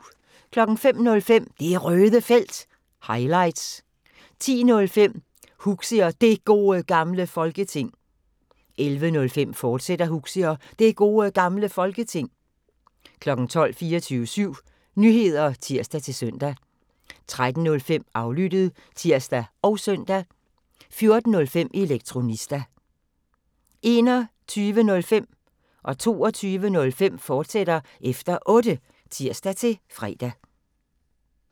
05:05: Det Røde Felt – highlights 10:05: Huxi og Det Gode Gamle Folketing 11:05: Huxi og Det Gode Gamle Folketing, fortsat 12:00: 24syv Nyheder (tir-søn) 13:05: Aflyttet (tir og søn) 14:05: Elektronista 21:05: Efter Otte, fortsat (tir-fre) 22:05: Efter Otte, fortsat (tir-fre)